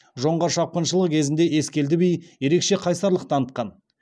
жоңғар шапқыншылығы кезінде ескелді би ерекше қайсарлық танытқан